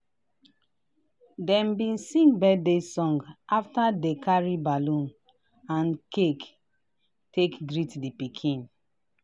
dem bi sing birthday song after dey carry ballon and cake take greet di pikin.